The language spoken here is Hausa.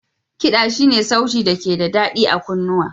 Kiɗa Shi ne sauti da ke da daɗi a kunnuwa.